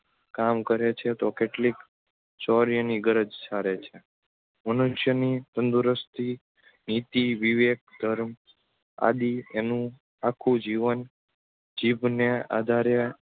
કામ કરે છે તો કેટલીક શોર્યની ગરજ સારે છે. મનુષ્યની તંદુરસ્તી નીતિ વિવેક ધર્મ આદિ એનું આખું જીવન જીભને આધારે